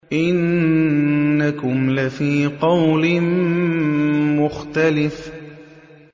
إِنَّكُمْ لَفِي قَوْلٍ مُّخْتَلِفٍ